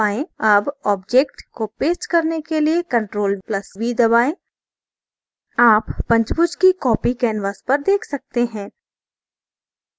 अब object को paste करने के लिए ctrl + v दबाएँ आप पंचभुज की copy canvas पर देख सकते हैं